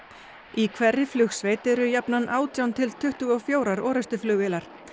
í hverri flugsveit eru jafnan átján til tuttugu og fjórum orrustuflugvélar